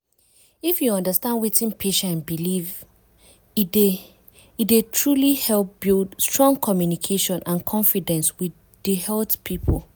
if you understand wetin patient believe e dey e dey truly help build strong communication and confidence with di health people.